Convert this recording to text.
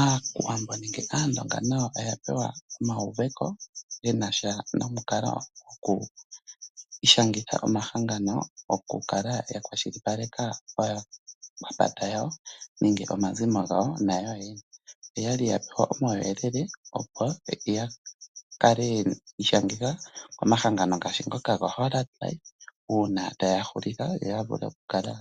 Aawambo nayo oya pewa euveko shinasha nonkalo yokuishangitha omahangano goku kala ta kwashilipaleke aakwanezimo yawo nenge yoyene. Oya li pewa uuyelele woku ishangitha komahangano ngaashi ngono goHollard life uuna taya hulitha kaya